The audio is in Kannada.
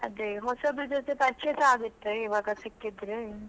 ಅದೇ ಹೊಸಬ್ರು ಜೊತೆ ಪರಿಚಯಸ ಆಗತ್ತೆ ಇವಾಗ ಸಿಕ್ಕಿದ್ರೆ.